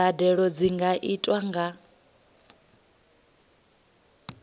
mbadelo dzi nga itwa nga